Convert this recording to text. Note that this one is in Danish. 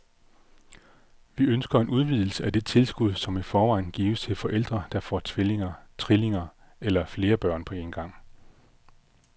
Vi ønsker en udvidelse af det tilskud, som i forvejen gives til forældre, der får tvillinger, trillinger eller flere børn på en gang.